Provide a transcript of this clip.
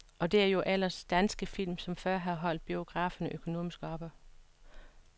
Og det er jo ellers danske film, som før har holdt biograferne økonomisk oppe.